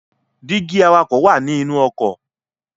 Dígí awakọ̀ wá ní inú ọkọ̀